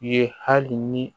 Ye hali ni